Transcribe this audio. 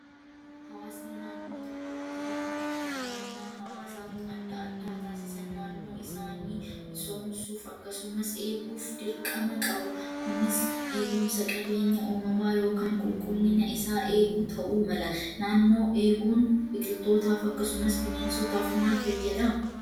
Hawaasni naannoo tokkotti hirmaannaa hawaasaa adda addaa taasisan naannoo isaanii misoomsuuf akkasumas eeguuf dirqama qabu. Kunis eegumsa qabeenya uumamaa yookaan qulqullina isaa eeguu ta'uu mala. Naannoo eeguun biqilootaaf akkasumas bineensotaaf maal fayyada?